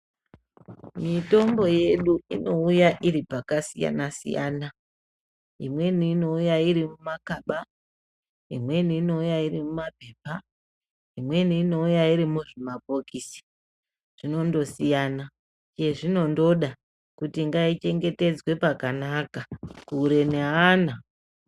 Mitombo yedu inouya iripakasiyana siyana imweni inouya iri mumakaba, imweni inouya iri mumaphepa, imweni inouya iri muzvimabhokisi zvinondosiya chezvinondoda kuti ngaichengetedzwe pakanaka kure neana.